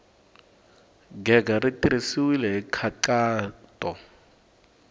gega ri tirhisiwile hi nkhaqato